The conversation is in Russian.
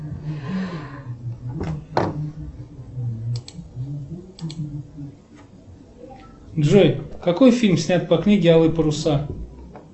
джой какой фильм снят по книге алые паруса